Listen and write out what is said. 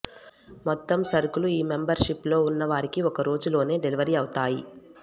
మొత్తం సరుకులు ఈ మొంబర్ షిప్ లో ఉన్న వారికి ఒకరోజులోనే డెలివరీ అవుతాయి